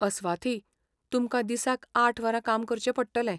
अस्वाथी, तुमकां दिसाक आठ वरां काम करचें पडटलें.